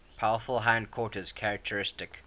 powerful hindquarters characteristic